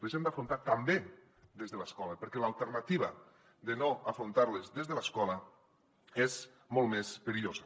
les hem d’afrontar també des de l’escola perquè l’alternativa de no afrontar les des de l’escola és molt més perillosa